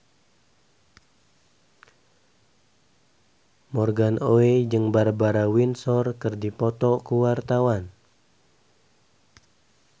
Morgan Oey jeung Barbara Windsor keur dipoto ku wartawan